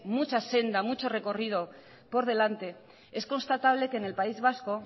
mucha senda mucho recorrido por delante es constatable que en el país vasco